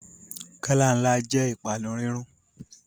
Gálà ńlá jẹ́ ìpanu rírún